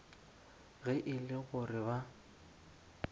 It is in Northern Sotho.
ge e le gore ba